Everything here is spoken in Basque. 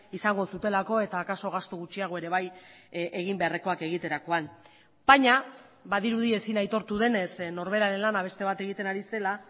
izango zutelako eta akaso gastu gutxiago ere bai egin beharrekoak egiterakoan baina badirudi ezin aitortu denez norberaren lana beste bat egiten ari zela